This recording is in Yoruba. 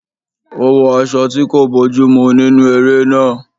Ó wọ aṣọ tí kò bójú mú nínú eré náà